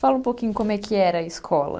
Fala um pouquinho como é que era a escola.